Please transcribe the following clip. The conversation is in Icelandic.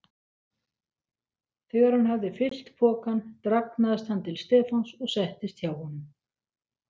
Þegar hann hafði fyllt pokann dragnaðist hann til Stefáns og settist hjá honum.